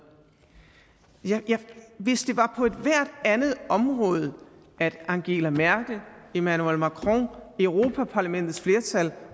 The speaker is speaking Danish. hvis det var på ethvert andet område at angela merkel emmanuel macron europa parlamentets flertal